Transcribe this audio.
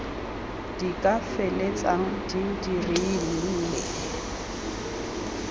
di ka feleltsang di dirile